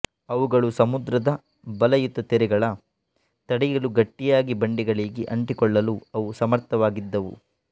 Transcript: ಅವುಗಳು ಸಮುದ್ರದ ಬಲಯುತ ತೆರೆಗಳ ತಡೆಯಲು ಗಟ್ಟಿಯಾಗಿ ಬಂಡೆಗಳಿಗೆ ಅಂಟಿಕೊಳ್ಳಲು ಅವು ಸಮರ್ಥವಾಗಿದ್ದವು